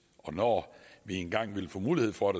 og når vi engang ville få mulighed for